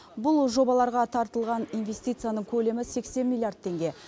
бұл жобаларға тартылған инвестицияның көлемі сексен миллиард теңге